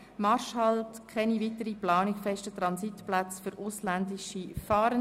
«Marschhalt – Keine weitere Planung fester Transitplätze für ausländische Fahrende».